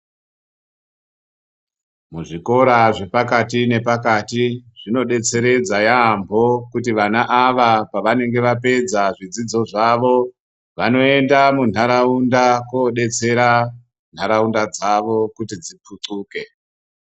Muzvikora zvepakati nepakati zvinodetseredza yambo kuti vana ava pavanenge Vapedza zvidzidzo zvavo vanoenda mundaraunda kobetsera nharaunda dzawo kuti dzithuthuke.